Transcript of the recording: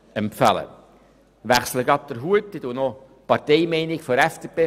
Ich wechsle nun meinen Hut und vertrete noch die Parteimeinung der FDP.